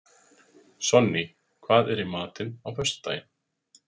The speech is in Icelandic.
Sonný, hvað er í matinn á föstudaginn?